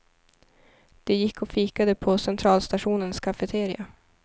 De gick och fikade på centralstationens cafeteria.